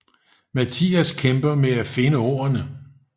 Mathias kæmper med at finde ordene